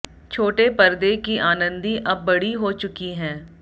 छोटे परदे की आनंदी अब बड़ी हो चुकी हैं